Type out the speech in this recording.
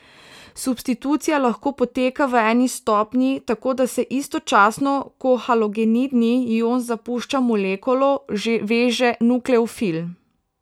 Substitucija lahko poteka v eni stopnji, tako da se istočasno, ko halogenidni ion zapušča molekulo, že veže nukleofil.